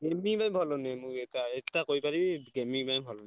Gaming ପାଇଁ ଭଲ ନୁହେଁ ମୁଁ ଏଇଟା ଏଇଟା କହିପାରିବି gaming ପାଇଁ ଭଲ ନୁହେଁ।